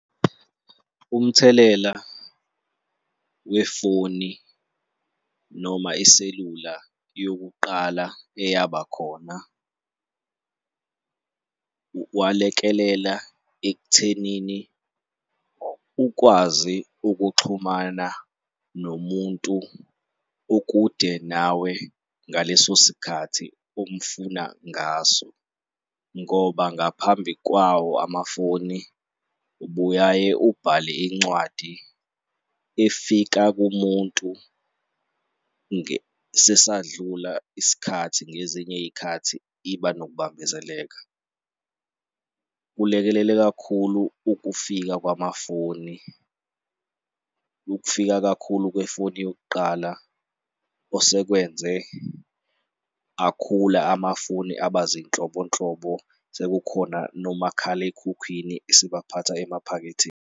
Umthelela wefoni noma iselula yokuqala eyaba khona kwalekelela ekuthenini ukwazi ukuxhumana nomuntu okude nawe ngaleso sikhathi omfuna ngaso ngoba ngaphambi kwawo amafoni ubuyaye ubhale incwadi efika kumuntu sesadlula isikhathi ngezinye iy'khathi iba nokubambezeleka. Kulekelele kakhulu ukufika kwamafoni, ukufika kakhulu kwefoni yokuqala osekwenze akhula amafoni aba zinhlobonhlobo, sekukhona nomakhalekhukhwini esibaphatha emaphaketheni.